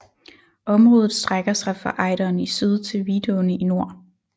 Området strækker sig fra Ejderen i syd til Vidåen i nord